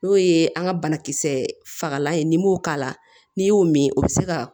N'o ye an ka banakisɛ fagalan ye n'i m'o k'a la n'i y'o min o bɛ se ka